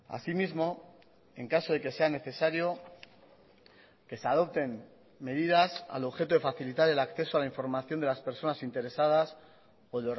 asimismo en caso de que sea necesario que se adopten medidas al objeto de facilitar el acceso a la información de las personas interesadas o